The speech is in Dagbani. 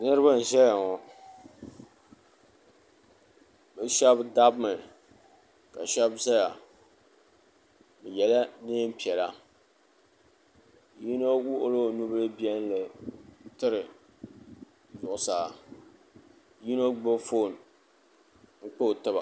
niriba n-ʒeya ŋɔ bɛ shɛba dabimi ka shɛba zaya bɛ yela neem' piɛla yino wuɣila o nu' bil' biɛlinli n-tiri zuɣusaa yino gbubi foon n-kpa o tiba